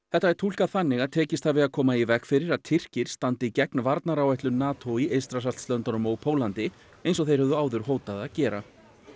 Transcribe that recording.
þetta er túlkað þannig að tekist hafi að koma í veg fyrir að Tyrkir standi gegn varnaráætlun NATO í Eystrasaltslöndunum og Póllandi eins og þeir höfðu áður hótað að gera